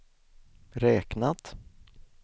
räknat